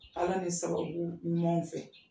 Ala ni sababu ɲuman fɛ